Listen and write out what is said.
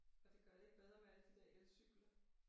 Og det gør det ikke bedre med alle de der elcykler